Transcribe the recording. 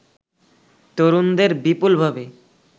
তরুণদের বিপুলভাবে